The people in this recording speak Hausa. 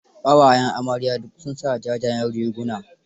Ƙawayen amarya duk sun sa jajayen riguna.